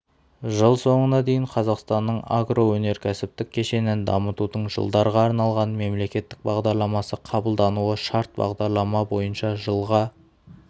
жыл соңына дейін қазақстанның агроөнеркәсіптік кешенін дамытудың жылдарға арналған мемлекеттік бағдарламасы қабылдануы шарт бағдарлама бойынша жылға